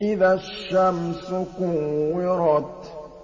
إِذَا الشَّمْسُ كُوِّرَتْ